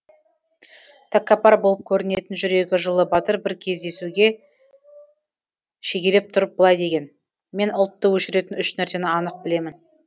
тәкаппар болып көрінетін жүрегі жылы батыр бір кездесуге шегелеп тұрып былай деген мен ұлтты өшіретін үш нәрсені анық білемін